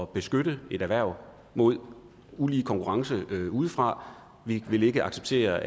beskytte et erhverv mod ulige konkurrence udefra vi vil ikke acceptere